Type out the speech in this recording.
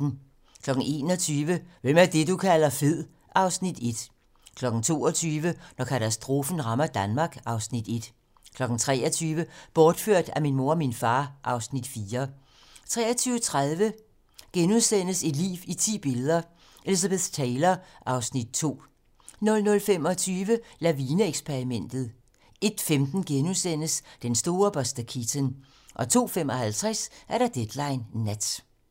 21:00: Hvem er det, du kalder fed? (Afs. 1) 22:00: Når katastrofen rammer Danmark (Afs. 1) 23:00: Bortført af min mor og far (Afs. 4) 23:30: Et liv i ti billeder - Elizabeth Taylor (Afs. 2)* 00:25: Lavine-eksperimentet 01:15: Den store Buster Keaton * 02:55: Deadline nat